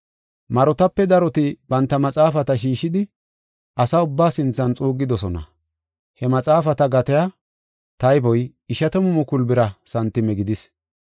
Marotape daroti banta maxaafata shiishidi asa ubbaa sinthan xuuggidosona. He maxaafata gatiya tayboy ishatamu mukulu bira santime gidis.